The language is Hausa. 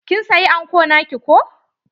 Kin saya anko naki ko?